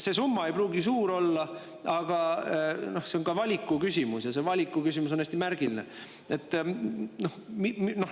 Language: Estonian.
Summa ei pruugigi suur olla, aga küsimus on valikutes ja valikute küsimus on hästi märgiline.